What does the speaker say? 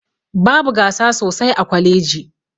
Babu gasa sosai a kwaleji